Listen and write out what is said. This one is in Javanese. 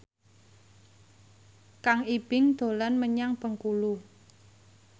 Kang Ibing dolan menyang Bengkulu